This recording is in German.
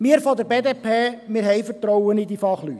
Wir von der BDP haben Vertrauen in die Fachleute.